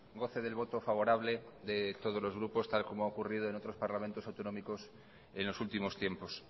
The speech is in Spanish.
goce del voto favorable de todos los grupos tal y como ha ocurrido en otros parlamentos autonómicos en los últimos tiempos